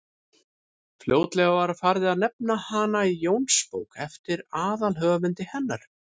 fljótlega var farið að nefna hana jónsbók eftir aðalhöfundi hennar